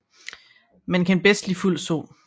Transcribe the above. Men kan bedst lide fuld sol